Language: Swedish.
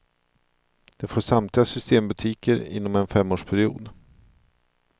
De får samtliga systembutiker inom en femårsperiod.